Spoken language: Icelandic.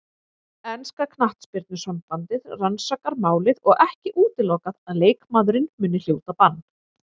Enska knattspyrnusambandið rannsakar málið og ekki útilokað að leikmaðurinn muni hljóta bann.